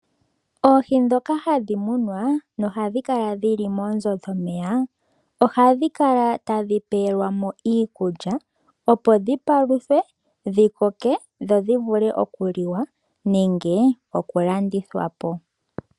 Oohi dhoka hadhi munwa nohadhi kala dhili moonzo dhomeya ohadhi kala tadhi pelwamo iikulya opo dhipaluthwe dhikokeke dho dhi vule okuliwa nenge okulandithwa po.